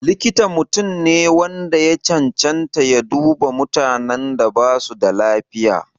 Likita mutum ne wanda ya cancanta ya duba mutanen da basu da lafiya.